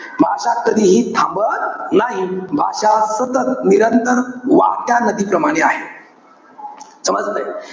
भाषा कधीही थांबत नाही. भाषा सतत, निरंतर वाहत्या नदीप्रमाणे आहे. समजतंय?